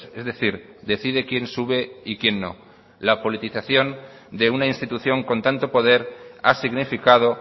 es decir decide quién sube y quién no la politización de una institución con tanto poder ha significado